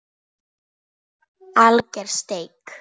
Alger steik